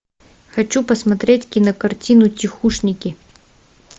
хочу посмотреть кинокартину тихушники